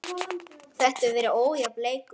Þetta hefur verið ójafn leikur.